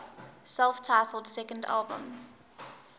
self titled second album